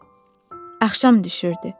Axşam düşürdü.